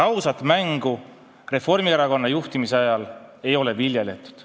Ausat mängu Reformierakonna juhtimise ajal ei viljeletud.